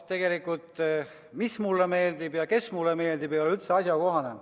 Tegelikult, mis mulle meeldib ja kes mulle meeldib, ei ole üldse asjakohane.